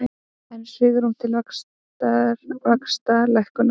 Enn svigrúm til vaxtalækkunar